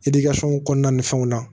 kɔnɔna ni fɛnw na